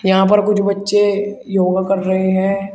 यहां पर कुछ बच्चे योगा कर रहे हैं।